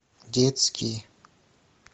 детский